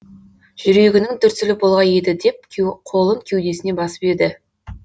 жүрегінің дүрсілі болғай еді деп қолын кеудесіне басып еді